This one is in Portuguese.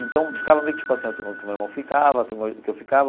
Então, ficava meio que tipo assim, a turma que o meu irmão ficava, a turma que eu ficava,